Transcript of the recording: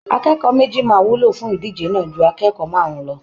Akẹ́kọ̀ọ́ méjì máa wúlò fún ìdíje náà ju akẹ́kọ̀ọ́ márùn-ún lọ